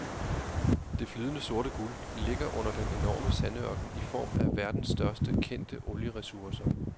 Det flydende sorte guld ligger under den enorme sandørken i form af verdens største kendte olieressourcer.